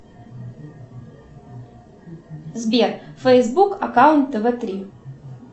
сбер фейсбук аккаунт тв три